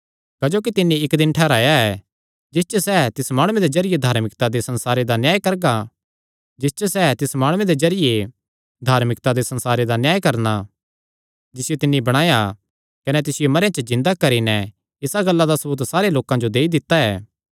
क्जोकि तिन्नी इक्क दिन ठैहराया ऐ जिस च सैह़ तिस माणुये दे जरिये धार्मिकता दे संसारे दा न्याय करणा जिसियो तिन्नी बणाया कने तिसियो मरेयां च जिन्दा करी नैं इसा गल्ला दा सबूत सारे लोकां जो देई दित्ता ऐ